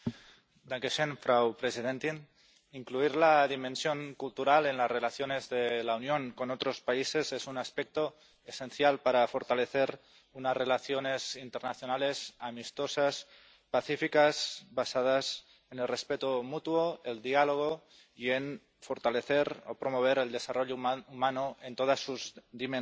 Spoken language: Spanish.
Señora presidenta, incluir la dimensión cultural en las relaciones de la Unión con otros países es un aspecto esencial para fortalecer unas relaciones internacionales amistosas, pacíficas, basadas en el respeto mutuo, el diálogo y en fortalecer o promover el desarrollo humano en todas sus dimensiones.